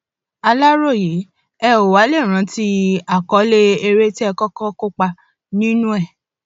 aláròye ẹ ó wàá lè rántí àkọlé eré tẹ ẹ kọkọ kópa nínú ẹ